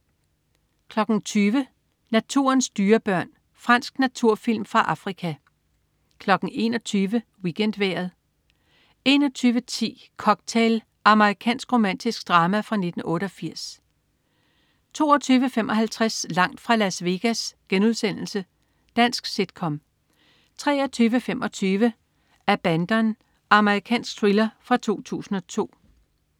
20.00 Naturens dyrebørn. Fransk naturfilm fra Afrika 21.00 WeekendVejret 21.10 Cocktail. Amerikansk romantisk drama fra 1988 22.55 Langt fra Las Vegas.* Dansk sit-com 23.25 Abandon. Amerikansk thriller fra 2002